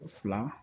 Fila